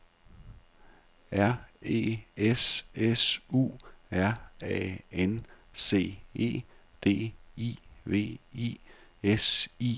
R E S S U R A N C E D I V I S I O N E N